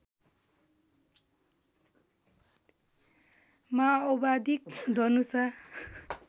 माओवादी धनुषा